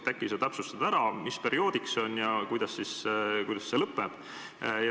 Äkki sa täpsustad, mis perioodiks see on ja kuidas see siis lõpeb.